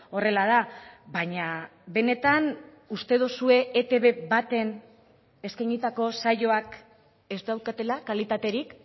horrela da baina benetan uste duzue etb baten eskainitako saioak ez daukatela kalitaterik